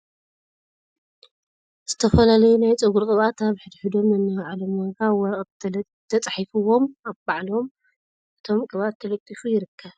ዝተፈላልዩ ናይ ፀጉሪ ቅብኣት ኣብ ሕድ ሕዶም ነናይ ባዕሎም ዋጋ ኣብ ወረቀት ተፃሒፍዎም ኣብ ባዕሎም እቶም ቅብኣት ተለጢፉ ይርከብ ።